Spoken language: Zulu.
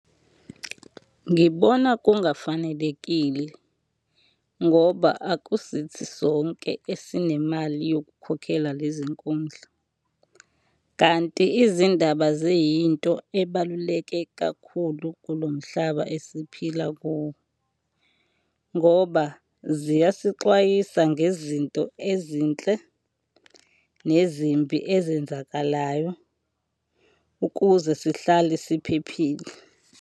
Ngibona kungafanelekile ngoba akusithi sonke esinemali yokukhokhela lezi nkundla, kanti izindaba ziyinto ebaluleke kakhulu kulo mhlaba esiphila kuwo ngoba ziyasixwayisa ngezinto ezinhle nezimbi ezenzakalayo, ukuze sihlale siphephile.